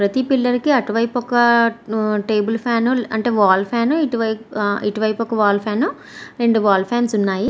ప్రతి పిల్లలకు అటువైపు ఒక టేబుల్ ఫ్యాన్ అంటే వాల్ ఫ్యాన్ ఇటువైపు ఒక్క వాల్ ఫ్యాన్ రెండు వాల్ ఫ్యాన్ ఉన్నాయి.